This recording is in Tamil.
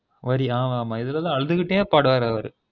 வரி ஆமாஆமா இதுலதான் அழுதுகிட்டே பாடுவாரு அவரு